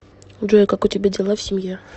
джой как у тебя дела в семье